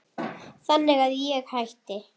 Þannig að ég hætti.